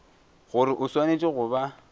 gore o swanetše go ba